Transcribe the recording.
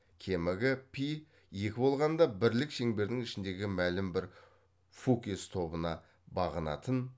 кемігі пи екі болғанда бірлік шеңбердің ішіндегі мәлім бір фукес тобына бағынатын